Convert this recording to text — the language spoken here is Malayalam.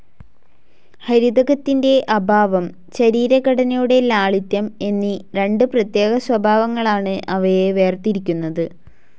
ഹരിതകത്തിൻ്റെ അഭാവം ശരീരഘടനയുടെ ലാളിത്യം എന്നീ രണ്ട് പ്രത്യേക സ്വഭാവങ്ങളാണ് അവയെ വേർതിരിക്കുന്നത്.